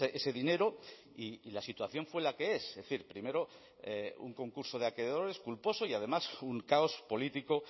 ese dinero y la situación fue la que es es decir primero un concurso de acreedores culposo y además un caos político